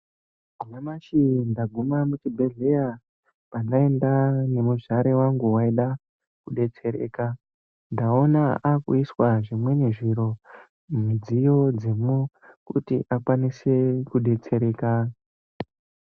Nyamashi ndaguma muchibhedhlera pandaenda nemuzvare wangu waida kudetsereka. Ndaona aakuiswa zvimweni zviro midziyo dzemwo kuti akwanise kudetsereka.